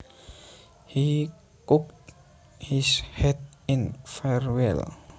He cocked his hat in farewell